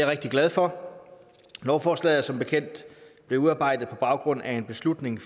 rigtig glad for lovforslaget er som bekendt blevet udarbejdet på baggrund af en beslutning